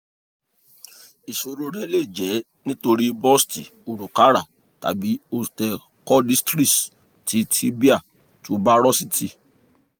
iṣoro rẹ le jẹ nitori bursitis orukara tabi osteochondritis ti tibial tuberosity